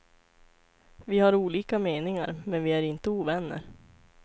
Vi har olika meningar, men vi är inte ovänner.